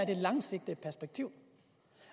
det langsigtede perspektiv